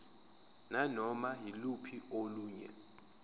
nanoma yiluphi olunye